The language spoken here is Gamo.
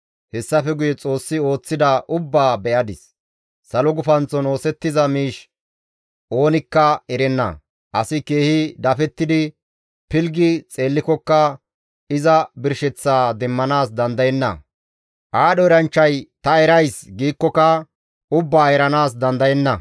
Hessafe guye Xoossi ooththida ubbaa be7adis; salo gufanththon oosettiza miish oonikka erenna; asi keehi dafettidi pilggi xeellikokka iza birsheththaa demmanaas dandayenna. Aadho eranchchay, «Ta erays» giikkoka ubbaa eranaas dandayenna.